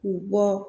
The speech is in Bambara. K'u bɔ